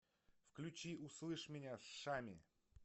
включи услышь меня шами